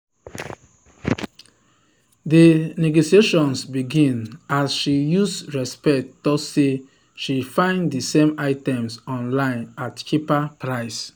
di negotiations begin as she use respect talk say she find d same items online at cheaper price.